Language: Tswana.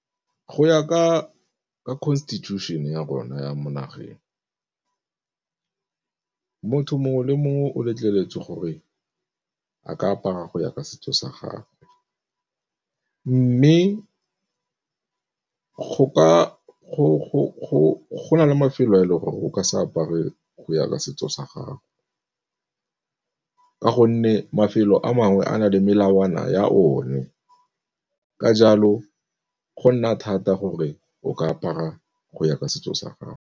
Go ya ka constitution ya rona ya mo nageng, motho mongwe le mongwe o letleletswe gore a ka apara go ya ka setso sa gagwe. Mme go na le mafelo a e leng gore o ka se apare go ya ka setso sa gago, ka gonne mafelo a mangwe a na le melawana ya o ne, ka jalo go nna thata gore o ka apara go ya ka setso sa gago.